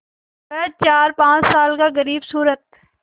वह चारपाँच साल का ग़रीबसूरत